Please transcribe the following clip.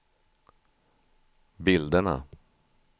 bilderna